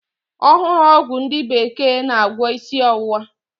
Ọhụrụ ọgwụ ndi bekee na agwo isi owuwa.